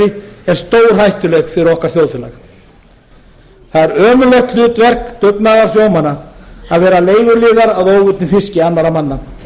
kvótabraskskerfi er stórhættuleg fyrir okkar þjóðfélag það er ömurlegt hlutverk dugnaðarsjómanna að vera leiguliðar á óveiddum fiski annarra manna